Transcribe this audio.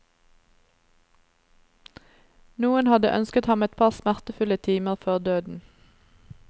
Noen hadde ønsket ham et par smertefulle timer før døden.